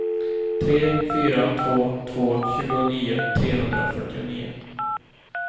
tre fyra två två tjugonio trehundrafyrtionio